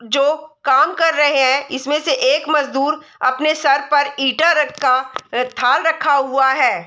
जो काम कर रहें हैं इसमें से एक मजदूर अपने सर पर ईटा रखा थाल रखा हुआ है।